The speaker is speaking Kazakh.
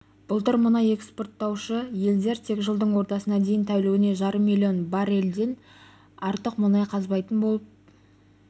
былтыр мұнай экспорттаушы елдер тек жылдың ортасына дейін тәулігіне жарым миллион баррельден артық мұнай қазбайтын болып